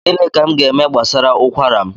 Gịnị ka m gaeme gbasara ụkwara m?